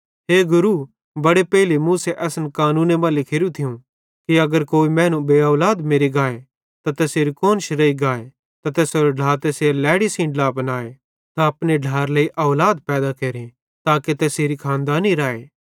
हे गुरू बड़े पेइले मूसे असन जो कानूने मां लिखोरू थियूं कि अगर कोई मैनू बेऔलाद मेरि गाए त तैसेरी कुआन्श रेइ गाए त तैसेरो ढ्ला तैसेरी लैड़ी सेइं ड्ला बनाए त अपने ढ्लाएरे लेइ औलाद पैदा केरे ताके तैसेरी खानदानी राए